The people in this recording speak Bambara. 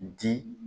Di